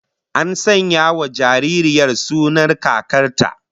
An sanya wa jaririyar sunan kakar ta